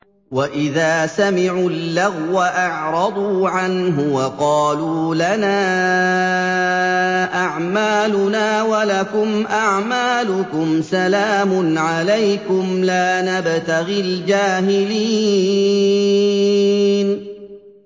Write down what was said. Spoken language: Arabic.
وَإِذَا سَمِعُوا اللَّغْوَ أَعْرَضُوا عَنْهُ وَقَالُوا لَنَا أَعْمَالُنَا وَلَكُمْ أَعْمَالُكُمْ سَلَامٌ عَلَيْكُمْ لَا نَبْتَغِي الْجَاهِلِينَ